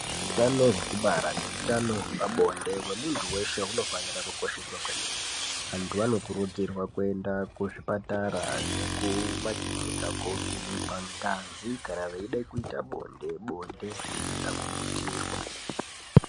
Hutano hwekubara nehutano hwepabonde hwemuntu veshe hunofanira kukosheswa kwemene. Antu anokurudzirwa kuenda kuzvipatara nekumakirinika kovhenekwa ngazi kana veida kuita bonde, bonde risina kubutirwa.